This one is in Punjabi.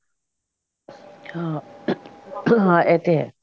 ਹਾਂ ਆਹ ਤੇ ਹੈ